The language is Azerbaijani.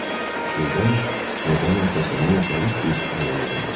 Birdən pərdanın arxasından zərif bir əl uzandı.